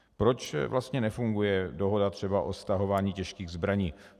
Proč vlastně nefunguje dohoda třeba o stahování těžkých zbraní?